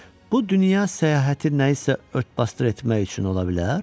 Bu dünya səyahəti nəsə örtbasdır etmək üçün ola bilər?